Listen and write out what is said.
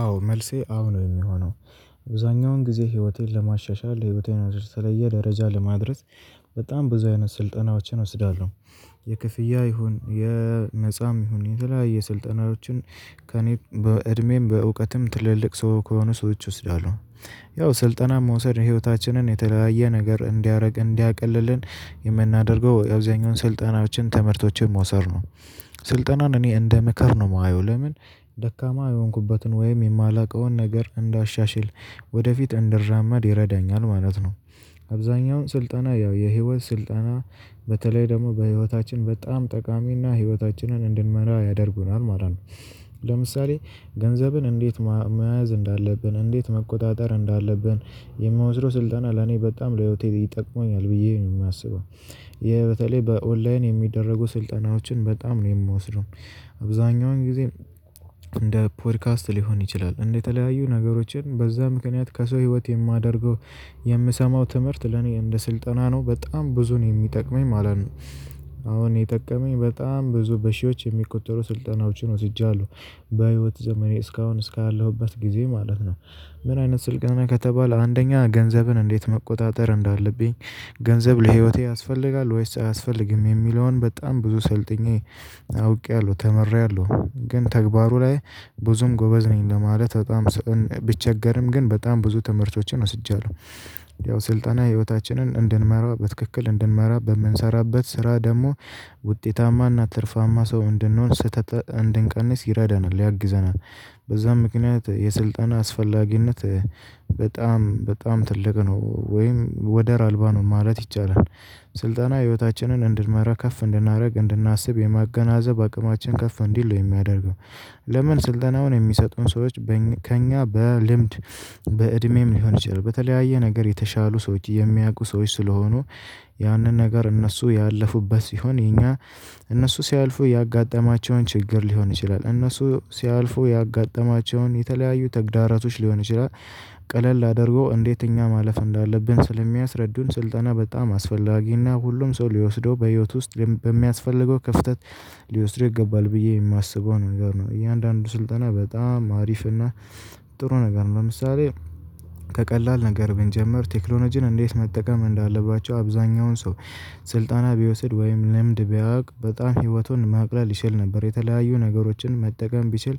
አዎ መልሴ አዎ ነው የሚሆነው። አብዛኛውን ጊዜ ህይወቴን ለማሻሻል ህይወቴን ወደ ተለየ ደረጃ ለማድረስ በጣም ብዙ አይነት ስልጠናዎችን እወስዳለሁ። የክፍያ ይሁን የነፃም ይሁን የተለያየ ስልጠናዎችን። በዕድሜም በእውቀትም ትልልቅ ሰው ከሆኑ ሰዎች እወስዳለሁ። ያው ስልጠና መውሰድ ህይወታችንን የተለያየ ነገር እንዲያደርግ እንዲያቀልልን የምናደርገው አብዛኛው ስልጠናዎችን ትምህርቶችን መውሰድ ነው። ስልጠናን እኔ እንደ ምክር ነው የማየው ለምን? ደካማ የሆንኩበትን ወይም የማላውቀውን ነገር እንዳሻሽል ወደፊት እንድራመድ ይረዳኛል ማለት ነው። አብዛኛውን ስልጠና ያው የህይወት ስልጠና በተለይ ደግሞ በህይወታችን በጣም ጠቃሚና ህይወታችንን እንድንመራ ያደርጉናል ማለት ነው። ለምሳሌ ገንዘብን እንዴት መያዝ እንዳለብን እንዴት መቆጣጠር እንዳለብን? የምወስደው ስልጠና ለኔ በጣም ለህይወቴ ይጠቅመኛል ብዬ ነው ማስበው። ይህ በተለይ በኦንላይን የሚደረጉ ስልጠናዎችን በጣም ነው የምወስደው። አብዛኛውን ጊዜ እንደ ፖድካስት ሊሆን ይችላል የተለያዩ ነገሮችን በዚያ ምክንያት ከሰው ህይወት የማደርገው። የምሰማው ትምህርት ለእኔ እንደ ስልጠና ነው በጣም ብዙ ነው የሚጠቅመኝ ማለት ነው። አሁን የጠቀመኝ በጣም ብዙ በሺዎች የሚቆጠሩ ስልጠናዎችን ወስጃለሁ በህይወት ዘመኔ እስካሁን እስካለሁበት ጊዜ ማለት ነው። ምን አይነት ስልጠና ከተባለ አንደኛ ገንዘብን እንዴት መቆጣጠር እንዳለብኝ? ገንዘብ ለህይወቴ ያስፈልጋል ወይስ አያስፈልግም የሚለውን በጣም ብዙ ሰልጥኜ አውቄያለሁ ተምሬአለሁ ግን ተግባሩ ላይ ብዙም ጎበዝ ነኝ ለማለት በጣም ብቸገርም ግን በጣም ብዙ ትምህርቶችን ወስጃለሁ። ያው ስልጠና ህይወታችንን እንድንመራ በትክክል እንድንመራ በምንሰራበት ስራ ደግሞ ውጤታማና ትርፋማ ሰው እንድንሆን ስህተት እንድንቀንስ ይረዳናል ያግዘናል። በዚያም ምክንያት የስልጠና አስፈላጊነት። በጣም ትልቅ ነው ወይም ወደር አልባ ነው ማለት ይቻላል። ስልጠና ህይወታችንን እንድንመራ ከፍ እንድናደርግ እንድናስብ የማገናዘብ አቅማችን ከፍ እንዲል ነው የሚያደርገው። ለምን ስልጠናውን የሚሰጡን ሰዎች? ከእኛ በልምድ በእድሜም ሊሆን ይችላል በተለያየ ነገር የተሻሉ ሰዎች የሚያውቁ ሰዎች ስለሆኑ። ያንን ነገር እነሱ ያለፉበት ሲሆን የኛ እነሱ ሲያልፉ ያጋጠማቸውን ችግር ሊሆን ይችላል እነሱ ሲያልፉ ያጋጠማቸውን የተለያዩ ተግዳሮቶች ሊሆን ይችላል። ቀለል አድርጎ እንዴት እኛ ማለፍ እንዳለብን ስለሚያስረዱን ስልጠና በጣም አስፈላጊና ሁሉም ሰው ሊወስደው በህይወት ውስጥ በሚያስፈልገው ክፍተት። ሊወስደው ይገባል ብዬ የማስበው ነገር ነው። እያንዳንዱ ስልጠና በጣም አሪፍና ጥሩ ነገር ነው። ለምሳሌ ከቀላል ነገር ብንጀምር ቴክኖሎጂን እንዴት መጠቀም እንዳለባቸው አብዛኛውን ሰው። ስልጠና ቢወስድ ወይም ልምድ ቢያውቅ በጣም ህይወቱን ማቅለል ይችል ነበር የተለያዩ ነገሮችን መጠቀም ቢችል።